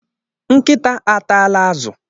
Nkịta atala azụ.